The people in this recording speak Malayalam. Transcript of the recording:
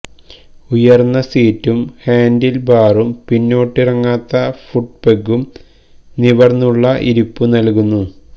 ഉയർന്ന സീറ്റും ഹാൻഡിൽ ബാറും പിന്നോട്ടിറങ്ങാത്ത ഫുട്പെഗ്ഗും നിവർന്നുള്ള ഇരിപ്പു നൽകുന്നു